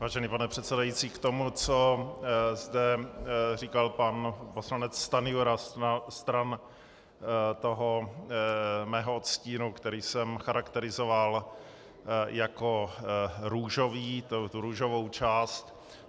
Vážený pane předsedající, k tomu, co zde říkal pan poslanec Stanjura stran toho mého odstínu, který jsem charakterizoval jako růžový, tu růžovou část.